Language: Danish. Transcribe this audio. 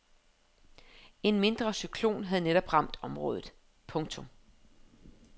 En mindre cyklon havde netop ramt området. punktum